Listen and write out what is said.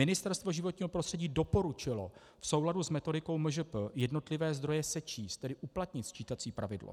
Ministerstvo životního prostředí doporučilo v souladu s metodikou MŽP jednotlivé zdroje sečíst, tedy uplatnit sčítací pravidlo.